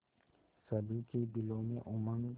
सभी के दिलों में उमंग